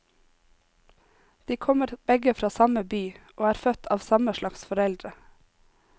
De kommer begge fra samme by og er født av samme salgs foreldre.